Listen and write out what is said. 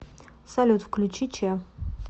салют включи че